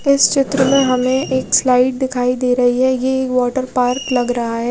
इस चित्र में हमे एक स्लाइड दिखाई दे रही है ये वाटर पार्क लग रहा है।